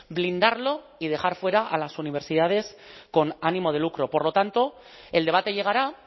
blindarlo y dejar fuera a las universidades con ánimo de lucro por lo tanto el debate llegará